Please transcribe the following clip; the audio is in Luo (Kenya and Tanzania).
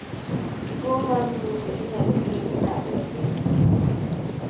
tuo mar ndulme inyalo tieki nade e piny?